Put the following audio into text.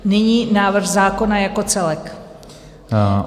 Nyní návrh zákona jako celek.